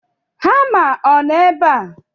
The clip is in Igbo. Hama ọ nọ ebe a?